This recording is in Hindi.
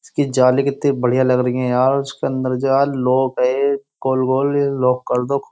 इसकी जाली कितनी बढ़िया लग रहीं है यार। उसके अंदर जा लो है। लॉक कर दो ख् --